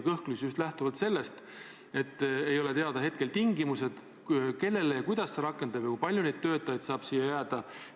Seda just lähtuvalt sellest, et ei ole teada tingimused, kellele ja kuidas see kord rakendub ja kui palju neid töötajaid saab siia jääda.